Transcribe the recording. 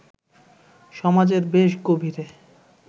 সমাজের বেশ গভীরে